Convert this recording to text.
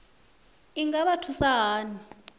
i nga vha thusa hani